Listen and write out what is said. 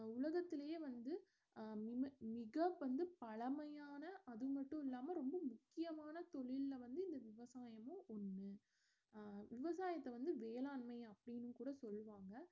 உலகத்துலயே வந்து அஹ் மி~ மிக வந்து பழமையான அது மட்டுமில்லாம ரொம்ப முக்கியமான தொழில்ல வந்து இந்த விவசாயமும் ஒன்னு அஹ் விவசாயத்த வந்து வேளாண்மை அப்படின்னு கூட சொல்லுவாங்க